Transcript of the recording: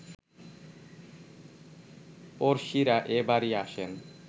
পড়শিরা এ বাড়ি আসেন